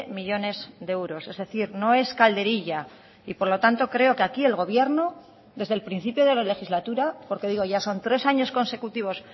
millónes de euros es decir no es calderilla y por lo tanto creo que aquí el gobierno desde el principio de la legislatura porque digo ya son tres años consecutivos